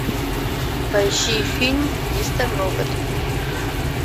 поищи фильм мистер робот